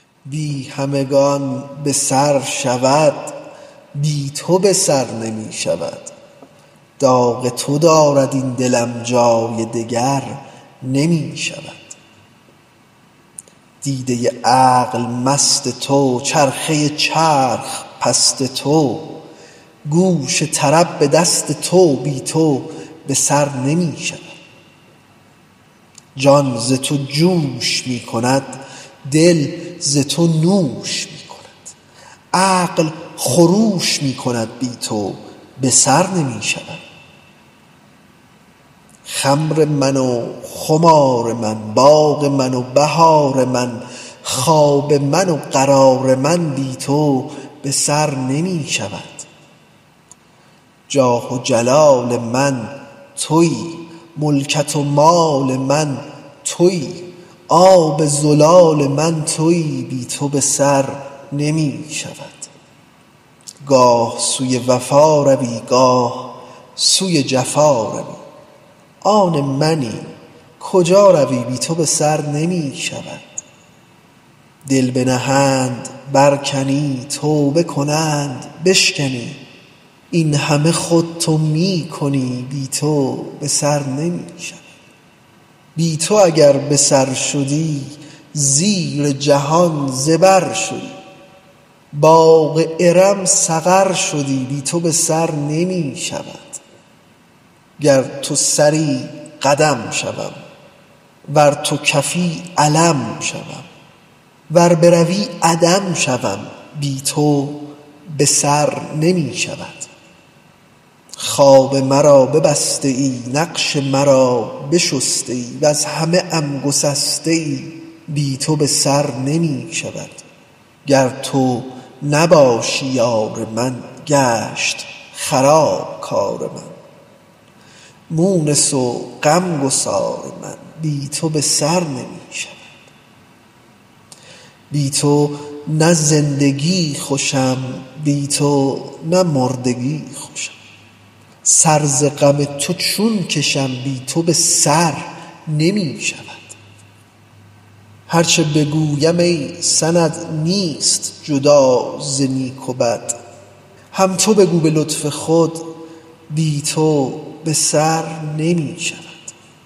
بی همگان به سر شود بی تو به سر نمی شود داغ تو دارد این دلم جای دگر نمی شود دیده عقل مست تو چرخه چرخ پست تو گوش طرب به دست تو بی تو به سر نمی شود جان ز تو جوش می کند دل ز تو نوش می کند عقل خروش می کند بی تو به سر نمی شود خمر من و خمار من باغ من و بهار من خواب من و قرار من بی تو به سر نمی شود جاه و جلال من تویی ملکت و مال من تویی آب زلال من تویی بی تو به سر نمی شود گاه سوی وفا روی گاه سوی جفا روی آن منی کجا روی بی تو به سر نمی شود دل بنهند برکنی توبه کنند بشکنی این همه خود تو می کنی بی تو به سر نمی شود بی تو اگر به سر شدی زیر جهان زبر شدی باغ ارم سقر شدی بی تو به سر نمی شود گر تو سری قدم شوم ور تو کفی علم شوم ور بروی عدم شوم بی تو به سر نمی شود خواب مرا ببسته ای نقش مرا بشسته ای وز همه ام گسسته ای بی تو به سر نمی شود گر تو نباشی یار من گشت خراب کار من مونس و غم گسار من بی تو به سر نمی شود بی تو نه زندگی خوشم بی تو نه مردگی خوشم سر ز غم تو چون کشم بی تو به سر نمی شود هر چه بگویم ای سند نیست جدا ز نیک و بد هم تو بگو به لطف خود بی تو به سر نمی شود